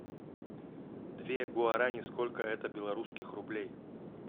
две гуарани сколько это белорусских рублей